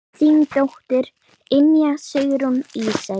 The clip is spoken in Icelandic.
Þín dóttir, Ynja Sigrún Ísey.